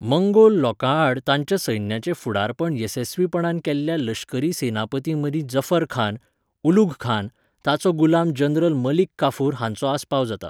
Mongol लोकांआड ताच्या सैन्याचें फुडारपण येसस्वीपणान केल्ल्या लश्करी सेनापतींमदीं जफरखान, उलुघखान, ताचो गुलाम जनरल मलिक काफुर हांचो आस्पाव जाता.